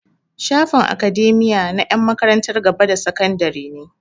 Shafin academia na 'yan makarantar gaba da sakandare ne.